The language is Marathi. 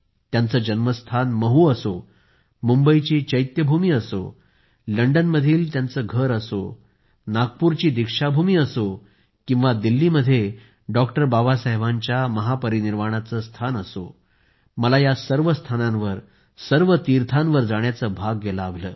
त्यांचे जन्मस्थान महू असो मुंबईची चैत्यभूमी असो अथवा दिल्ली मध्ये बाबासाहेबांच्या महापरिनिर्वाणाचे स्थान मला या सर्व स्थानांवर सर्व तीर्थांवर जाण्याचं भाग्य लाभलं